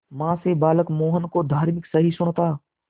मां से बालक मोहन को धार्मिक सहिष्णुता